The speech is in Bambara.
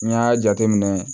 N y'a jateminɛ